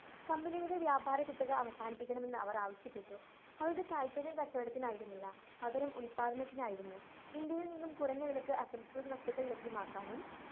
company യുടെ വ്യാപാരകുത്തക അവസാനിപ്പിക്കണമെന്ന് അവര്‍ ആവശ്യപ്പെട്ടു. അവരുടെ താല്പര്യം കച്ചവടത്തിനായിരുന്നില്ല. പകരം ഉത്‌പാദനത്തിനായിരുന്നു. ഇന്ത്യയില്‍ നിന്ന് കുറഞ്ഞ വിലയ്ക്ക് അസംസ്കൃത വസ്തുക്കള്‍ ലഭ്യമാക്കാനും